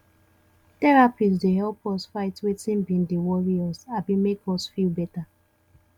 therapist dey help us fight wetin bin dey worry us abi make us feel bad